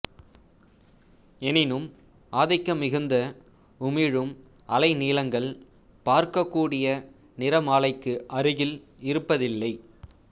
எனினும் ஆதிக்கமிகுந்து உமிழும் அலைநீளங்கள் பார்க்கக் கூடிய நிறமாலைக்கு அருகில் இருப்பதில்லை